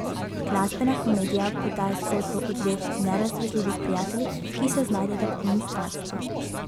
Glasbena komedija podaja zgodbo o dveh nerazdružljivih prijateljih, ki se znajdeta v onstranstvu.